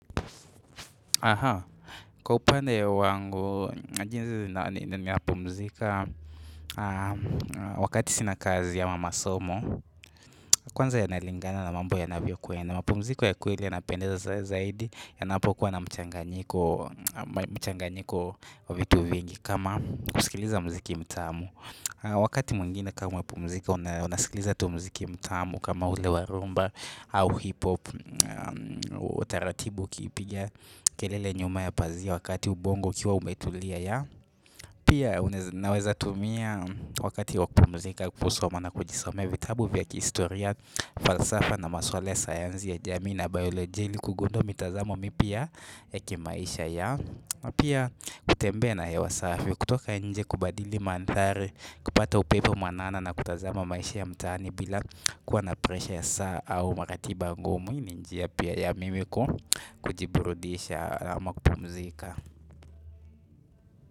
Kwa upande wangu, wakati sina kazi au masomo, kwanza yanalingana na mambo yanavyo kwenda mapumziko ya kweli yanapendeza zaidi, yanapokuwa na mchanganyiko vitu vingi kama kusikiliza muziki mtamu wakati mwingine kama mapumziko, unasikiliza tu muziki mtamu kama ule wa rumba au hip hop utaratibu ukipiga kelele nyuma ya pazia wakati ubongo ukiwa umetulia ya pia naweza tumia wakati wa kupumzika kusoma na kujisomea vitabu vya kihistoria falsafa na maswala ya sayansi ya jamii na biolojia ili kugundua mitazamo mipya kimaisha ya na pia kutembea na hewa safi kutoka nje kubadili mandhari kupata upepo mwanana na kutazama maisha ya mtaani bila kuwa na presha ya saa au makatiba ngumu hii ni njia pia ya mimi kujiburudisha ama kupumzika.